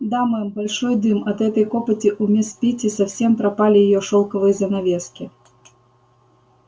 да мэм большой дым от этой копоти у мисс питти совсем пропали её шёлковые занавески